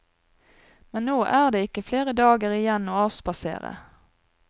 Men nå er det ikke flere dager igjen å avspasere.